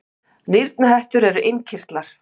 nýrnahettur eru innkirtlar